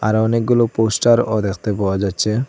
আরও অনেকগুলো পোস্টারও দেখতে পাওয়া যাচ্ছে।